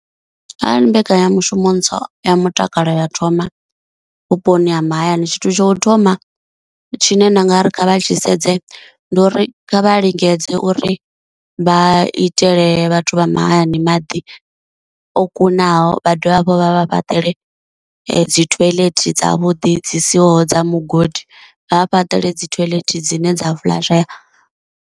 Arali mbekanyamushumo ntswa ya mutakalo ya thoma vhuponi ha mahayani, tshithu tsha u thoma tshine nda nga ri kha vha tshi sedze ndi uri kha vha lingedze uri vha itele vhathu vha mahayani maḓi o kunaho, vha dovhe hafhu vha vha fhaṱela dzi toilet dzavhuḓi dzi siho dza mugodi, vha fhaṱela dzi toilet dzine dza fulashea.